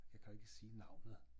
Jeg kan jo ikke sige navnet